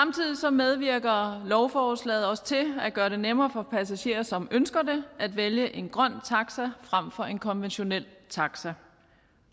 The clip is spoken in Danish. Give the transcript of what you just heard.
medvirker lovforslaget også til at gøre det nemmere for passagerer som ønsker det at vælge en grøn taxa frem for en konventionel taxa